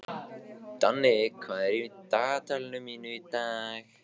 Danni, hvað er á dagatalinu mínu í dag?